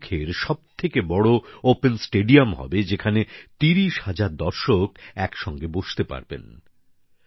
এটি লাদাখের সবথেকে বড় ওপেন স্টেডিয়াম হবে যেখানে ৩০ হাজার দর্শক একসঙ্গে বসতে পারবেন